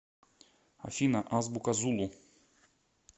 афина азбука зулу